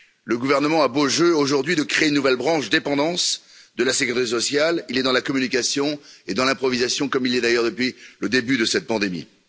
Le gouvernement a beau jeu, aujourd'hui, de créer une nouvelle branche Dépendance de la sécurité sociale, il est dans la communication et dans l'improvisation, comme il l'est d'ailleurs depuis le début de cette pandémie.